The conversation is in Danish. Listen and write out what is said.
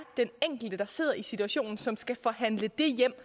den enkelte der sidder i situationen som skal forhandle det hjem